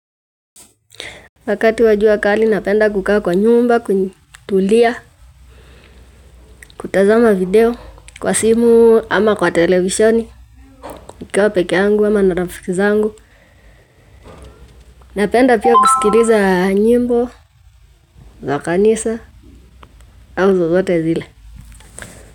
Wakati wa jua kali napenda kukaa kwa nyumba, kutulia, kutazama video, kwa simu ama kwa televishoni, kukaa pekeangu ama na rafiki zangu, napenda pia kusikiriza nyimbo, za kanisa, au zozote zile.